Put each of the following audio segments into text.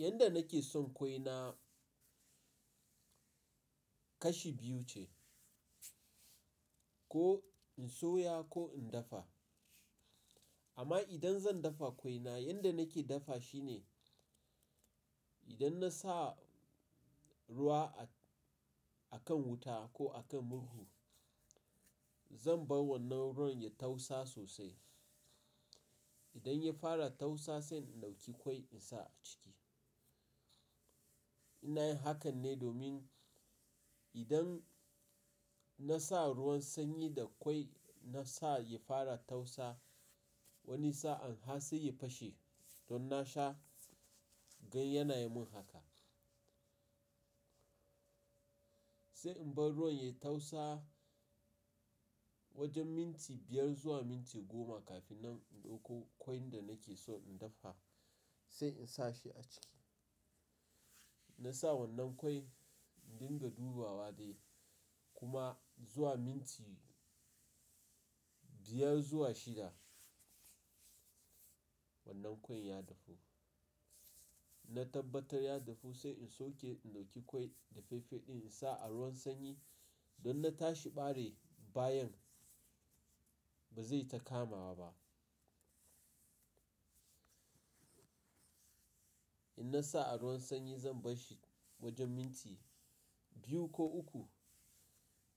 Yanda nake son kwaina kashi biyu ce, ko in soya ko in dafa. Amma idan zan dafa kwaina, yanda nake dafa shi ne, idan na sa ruwa a kan wuta ko a kan murhu, zan bar wannan ruwan ya tausa sosai. Idan ya fara tausa sai in ɗauki kwai in sa a ciki. In na yin hakan ne domin idan na sa ruwan sanyi da kwai na sa ya fara tausa wani sa’an har sai ya fashe don na sha, gan yana yi mun haka. Sai in bar ruwan ya tausa wajen minti biyar zuwa minti goma kafin nan in ɗauko kwan da nake so in dafa sai in sa shi a ciki. Na sa wannan kwai in dinga dubawa wa dai kuma zuwa minti biyar zuwa shida wannan kwan ya dafu. Na tabbatar ya dafu sai in sauke, in ɗauki kwai dafaffe ɗin in sa a ruwan sanyi In na tashi bare bayan ba zai ta kama ba. In na sa a ruwan sanyi zan bar shi wajen minti biyu ko uku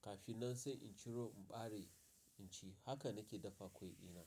kafin nan sai in ciro, in bare, in ci. Haka nake dafa kwai dina.